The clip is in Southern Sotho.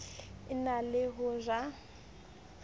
e na le ho ja